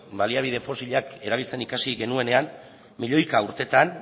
baliabide fosilak erabiltzen ikasi genuenean milioika urtetan